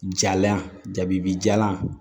Jalan jabibi jalan